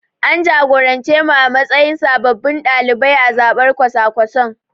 An jagorance mu a matsayin sababbin ɗalibai a zabar kwasa-kwasan.